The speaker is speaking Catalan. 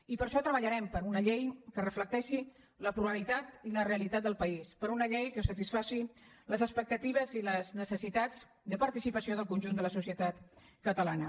i per a això treballarem per una llei que reflecteixi la pluralitat i la realitat del país per una llei que satisfaci les expectatives i les necessitats de participació del conjunt de la societat catalana